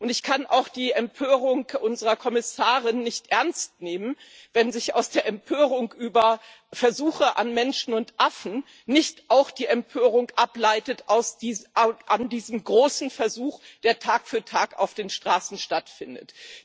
Ich kann auch die Empörung unserer Kommissarin nicht ernst nehmen, wenn sich aus der Empörung über Versuche an Menschen und Affen nicht auch die Empörung ableitet an diesem großen Versuch, der Tag für Tag auf den Straßen stattfindet.